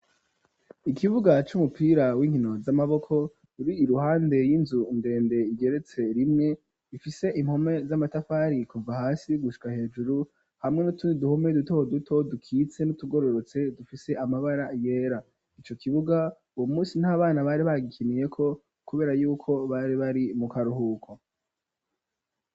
Ikibuga c'umupira w'inkino z'amaboko ruri iruhande y'inzu ndende igeretse rimwe bifise impome z'amatafari kuva hasi gushika hejuru hamwe n'utundi duhome duto duto dukitse n'utugororotse dufise amabara yera ico kibuga uwo munsi ntabana bari bagikiniye ko kubera yuko bari bari mu karuhuko.